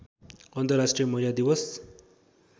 अन्तर्राष्ट्रिय महिला दिवस